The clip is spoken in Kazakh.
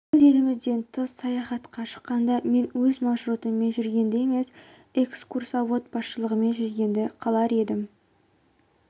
өз елімізден тыс саяхатқа шыққанда мен өз маршрутыммен жүргенді емес экскурсовод басшылығымен жүргенді қалар едім